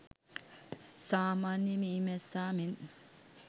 සාමාන්‍ය මී මැස්සා මෙන්